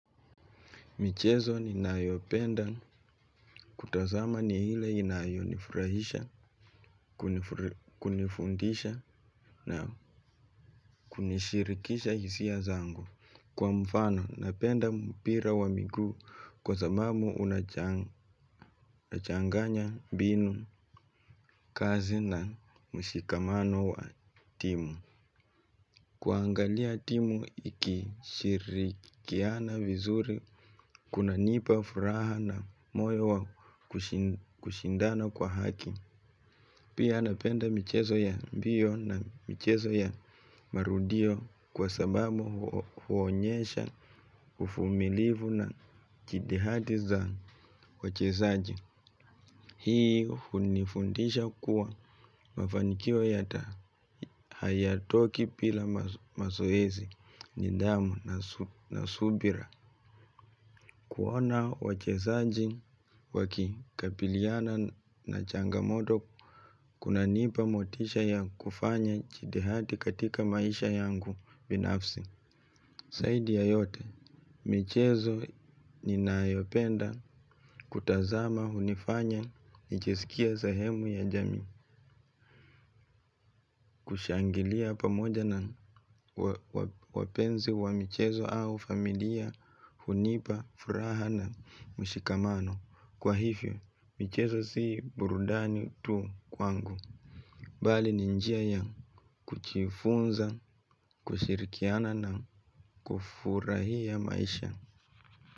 Michezo ni nayopenda kutazama ni ile inayonifurahisha, kunifundisha na kunishirikisha hisia zangu. Kwa mfano, napenda mpira wa miguu kwa sababu unachanganya mbinu kazi na mshikamano wa timu. Kuangalia timu ikishirikiana vizuri kuna nipa furaha na moyo wa kushindana kwa haki. Pia napenda michezo ya mbio na michezo ya marudio kwa sababu huonyesha uvumilivu na kidihati za wachezaji. Hii hunifundisha kuwa mafanikio yata haya toki bila mazoezi ni damu na subira. Kuona wachezaji waki kabiliana na changamoto kuna nipa motisha ya kufanya jidihati katika maisha yangu binafsi. Zaidi ya yote, michezo ninayopenda kutazama hunifanya, nijisikie sahemu ya jamii, kushangilia pamoja na wapenzi wa michezo au familia hunipa, furaha na mshikamano. Kwa hivyo, michezo sii burudani tu kwangu. Bali ninjia ya kujifunza, kushirikiana na kufurahia maisha.